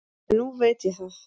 En nú veit ég það.